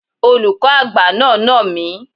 Olùkọ́ àgbà náà nà mí.